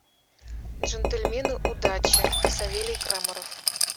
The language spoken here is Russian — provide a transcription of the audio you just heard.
джентльмены удачи савелий крамаров